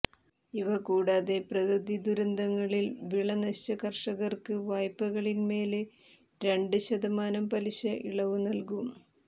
ഇവകൂടാതെ പ്രകൃതി ദുരന്തങ്ങളിൽ വിള നശിച്ച കർഷകർക്ക് വായ്പകളിന്മേല് രണ്ട് ശതമാനം പലിശ ഇളവ് നല്കും